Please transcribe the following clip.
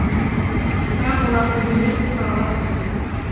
бірақ оларда өндіріс тұралап тұр